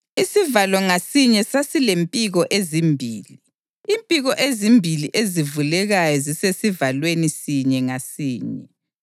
Isivalo ngasinye sasilempiko ezimbili, impiko ezimbili ezivulekayo zisesivalweni sinye ngasinye.